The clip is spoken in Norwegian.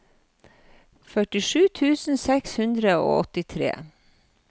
førtisju tusen seks hundre og åttitre